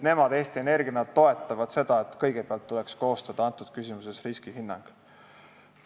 Eesti Energia toetab seda, et kõigepealt tuleks selles küsimuses koostada riskihinnang.